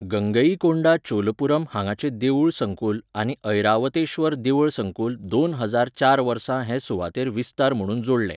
गंगईकोंडा चोलपुरम हांगाचें देवूळ संकुल आनी ऐरावतेश्वर देवळ संकुल दोन हजार चार वर्सा हे सुवातेर विस्तार म्हणून जोडलें.